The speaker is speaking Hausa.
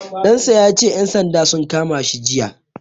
Ɗan sa ya ce ƴan sandan sun kama shi jiya.